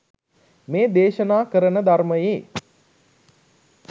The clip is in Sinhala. මේ දේශනා කරන ධර්මයේ